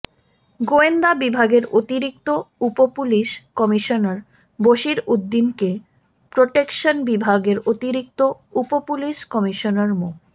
গোয়েন্দা বিভাগের অতিরিক্ত উপপুলিশ কমিশনার বশির উদ্দিনকে প্রটেকশন বিভাগের অতিরিক্ত উপপুলিশ কমিশনার মো